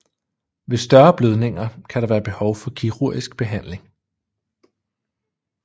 Ved større blødninger kan der være behov for kirurgisk behandling